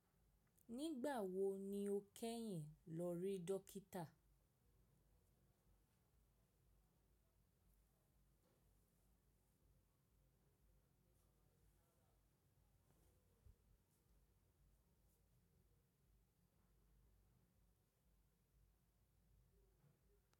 Nígbà wo ni o kẹ́yìn lọ rí dókítà?